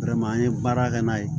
an ye baara kɛ n'a ye